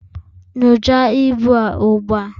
nyocha ibu a ugbua!